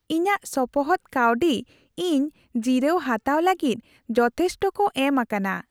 ᱤᱧᱟᱹᱜ ᱥᱚᱯᱚᱦᱚᱫ ᱠᱟᱹᱣᱰᱤ ᱤᱧ ᱡᱤᱨᱟᱹᱣ ᱦᱟᱛᱟᱣ ᱞᱟᱹᱜᱤᱫ ᱡᱚᱛᱷᱮᱥᱴᱚ ᱠᱚ ᱮᱢ ᱟᱠᱟᱱᱟ ᱾